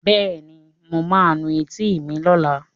Bẹ́ẹ̀ni, mo ma nu etí mi lọ́la